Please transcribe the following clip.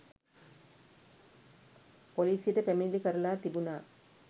පොලිසියට පැමිණිලි කරලා තිබුණා.